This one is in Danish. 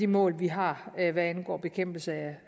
mål vi har hvad angår bekæmpelse